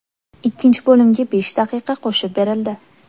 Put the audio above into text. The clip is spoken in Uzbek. Ikkinchi bo‘limga besh daqiqa qo‘shib berildi.